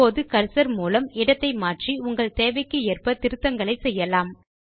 இப்போது கர்சர் மூலம் இடத்தை மாற்றி உங்கள் தேவைக்கு ஏற்ப திருத்தங்களை செய்யலாம்